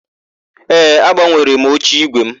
Ee, agbanwere m oche ígwè mụ.